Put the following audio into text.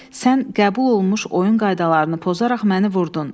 Sən qəbul olunmuş oyun qaydalarını pozaraq məni vurdun.